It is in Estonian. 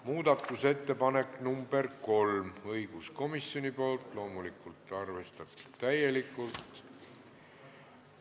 Muudatusettepanek nr 3 õiguskomisjonilt, loomulikult arvestatud täielikult.